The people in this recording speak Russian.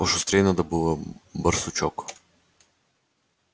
пошустрей надо было барсучок